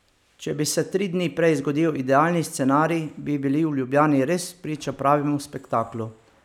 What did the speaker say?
Če bi se tri dni prej zgodil idealni scenarij, bi bili v Ljubljani res priča pravemu spektaklu.